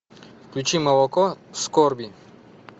включи молоко скорби